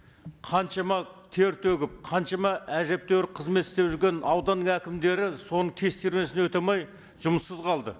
қаншама тер төгіп қаншама әжептәуір қызмет істеп жүрген аудан әкімдері соның тестированиесін өте алмай жұмыссыз қалды